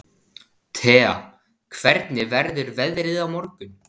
Thea, hvernig verður veðrið á morgun?